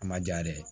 A ma ja yɛrɛ ye